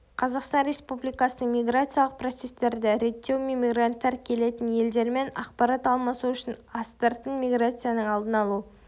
қазақстан республикасының миграциялық процестерді реттеу мен мигранттар келетін елдермен ақпарат алмасу үшін астыртын миграцияның алдын алу